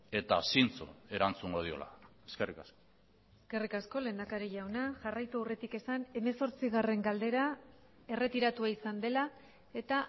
eta zintzo erantzungo diola eskerrik asko eskerrik asko lehendakari jauna jarraitu aurretik esan hemezortzigarrena galdera erretiratua izan dela eta